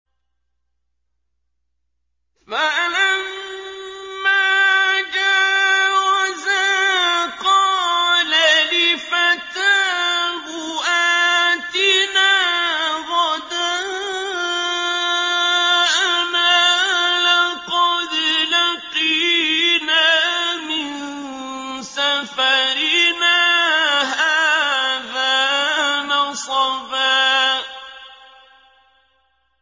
فَلَمَّا جَاوَزَا قَالَ لِفَتَاهُ آتِنَا غَدَاءَنَا لَقَدْ لَقِينَا مِن سَفَرِنَا هَٰذَا نَصَبًا